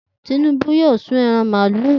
Tinubu yóò sún ẹran màlúù